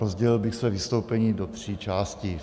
Rozdělil bych své vystoupení do tří částí.